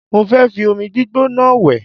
Mo fẹ́ fi omi gbígbóná wẹ̀